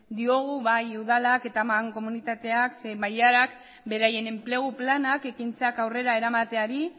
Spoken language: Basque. diogu bai udalak eta mankomunitateak zein bailarak beraien enplegu planak ekintzak aurrera eramateari